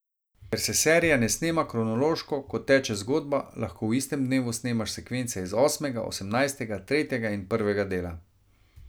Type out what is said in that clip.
Ker se serija ne snema kronološko, kot teče zgodba, lahko v istem dnevu snemaš sekvence iz osmega, osemnajstega, tretjega in prvega dela.